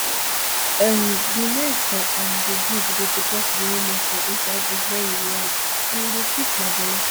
um di men for um di group dey protect di women for inside bush wen we ride and e dey sweet my belle